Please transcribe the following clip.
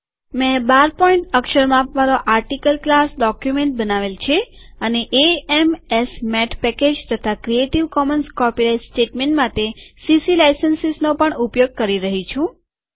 મેં ૧૨પોઈન્ટ અક્ષર માપવાળોઆર્ટીકલ ક્લાસ ડોક્યુમેન્ટ બનાવેલ છેઅને એએમએસમેથ પેકેજ તથા ક્રિએટીવ કોમન્સ કોપીરાઈટ સ્ટેટમેટ માટે સીસીલાઈસંસીસનો પણ ઉપયોગ કરી રહી છું